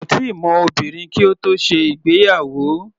Kò tíì mọ obìnrin kí ó tó ṣe ìgbéyàwó.